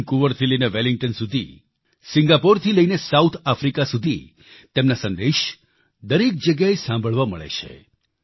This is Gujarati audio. વેનકુવર થી વેલિંગ્ટન સુધી સિંગાપોર થી સાઉથ આફ્રિકા સુધી તેમના સંદેશ દરેક જગ્યાએ સાંભળવા મળે છે